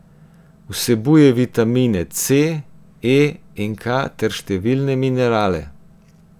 Vsebuje vitamine C, E in K ter številne minerale.